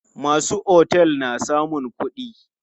Masu otel na samun kuɗi.